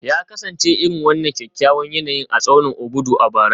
Ya kasance irin wannan kyakkyawan yanayin a tsaunin Obudu a bara